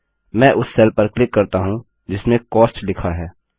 मैं उस सेल पर क्लिक करता हूँ जिसमें कॉस्ट लिखा है